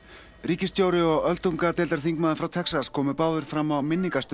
ríkisstjóri og öldungadeildarþingmaður frá Texas komu báðir fram á